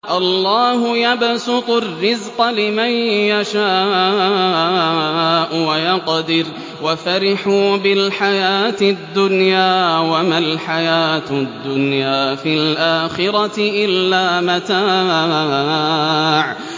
اللَّهُ يَبْسُطُ الرِّزْقَ لِمَن يَشَاءُ وَيَقْدِرُ ۚ وَفَرِحُوا بِالْحَيَاةِ الدُّنْيَا وَمَا الْحَيَاةُ الدُّنْيَا فِي الْآخِرَةِ إِلَّا مَتَاعٌ